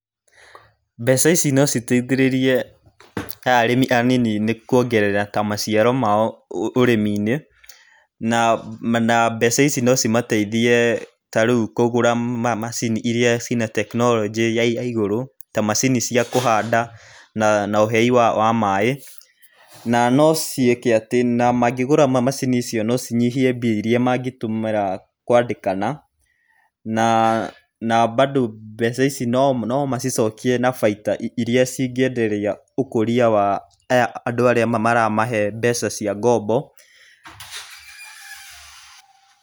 Mbeca ici no citeithĩrĩrie arĩmi anini nĩ ta kuongerera maciaro mao ũrĩmi-inĩ na mbeca ici no cimateithie tarĩu kũgũra macini iria ciĩna tekinoronjĩ ya igaigũrũ ta mcaini cia kũhanda na ũhei wa maaĩ. Na no ciĩke atĩ na mangĩgũra macini icio no cinyihie mbia iria mangĩtũmĩra kwandĩkana na bando mbeca ici no macicokie na bainda iria cingĩenderia ũkũria wa andũ arĩa maramahe mbeca cia ngombo.